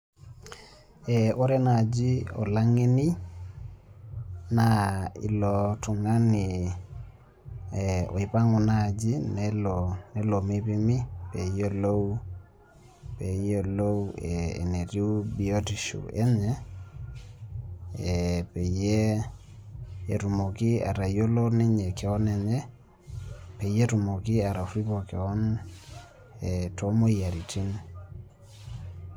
Ee ore naaji olang'eni naa ilo tung'ani oipang'u naaji nelo meipimi pee eyiolou entiubiotisho enye ee peyie etumoki atayiolo ninye keon enye peyei etumoki atorripo keon ee toomoyiaritin.